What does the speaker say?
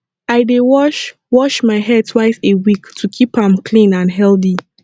i dey wash wash my hair twice a week to keep am clean and healthy